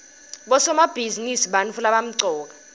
bosomabhizinisi bantfu labamcoka